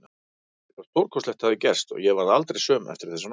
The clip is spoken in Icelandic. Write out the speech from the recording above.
Eitthvað stórkostlegt hafði gerst og ég varð aldrei söm eftir þessa nótt.